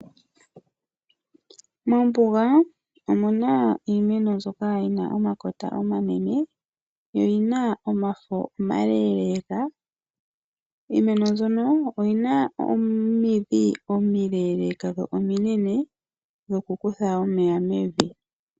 Mombuga omuna iimeno mbyoka yina omakota omanene, yo oyina omafo omaleeleka. Iimeno mbyoka oyina omidhi omileeleka dho ominene, dho ku kutha omeya mevi.